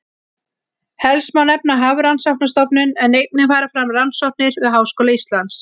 Helst má nefna Hafrannsóknastofnun en einnig fara fram rannsóknir við Háskóla Íslands.